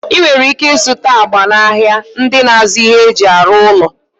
Ị nwere ike ịzụta agba n'ahịa ndị na-azụ ihe e ji arụ ụlọ.